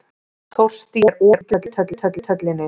Þórstína, er opið í Kjöthöllinni?